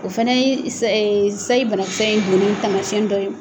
O fana ye sayi sayi banakisɛ in donnen tamasiyɛn dɔ ye.